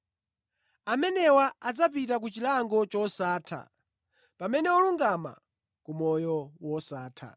“Amenewa adzapita ku chilango chosatha pamene olungama ku moyo wosatha.”